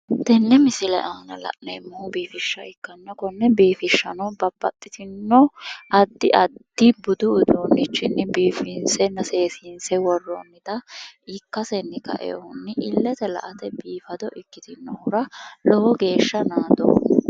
Tenne misile aana la'neemmohu biifishsha ikkanna konne biifishshano babbaxxitinno addi addi budu uduunnichinni biifinsenna seesiinse worroonnita ikkasenni kaewohunni illete la''ate biifado ikkitinohura lowo geeshsha naadoomma.